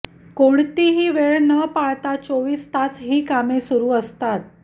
कोणतीही वेळ न पाळता चोवीस तास ही कामे सुरू असतात